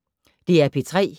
DR P3